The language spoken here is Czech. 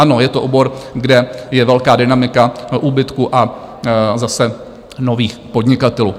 Ano, je to obor, kde je velká dynamika úbytku a zase nových podnikatelů.